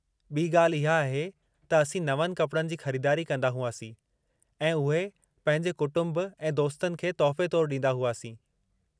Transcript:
ॿी ॻाल्हि इहा आहे त असीं नवनि कपड़नि जी ख़रीदारी कंदा हुआसीं ऐं उहे पंहिंजे कुटुंब ऐं दोस्तनि खे तोहफ़े तौरु ॾींदा हुआसीं।